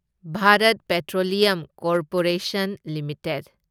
Bharat petroleum corporation limited